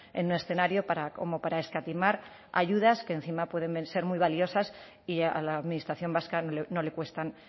en un escenario como para escatimar ayudas que encima pueden ser muy valiosas y a la administración vasca no le cuestan